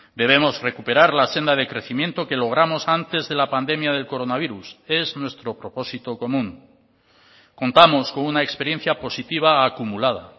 debemos recuperar la senda de crecimiento que logramos antes de la pandemia del coronavirus es nuestro propósito común contamos con una experiencia positiva acumulada